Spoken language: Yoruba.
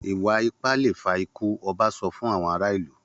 Ìwà-ipá le fa ikú! Ọba sọ fún àwọn ará ìlú.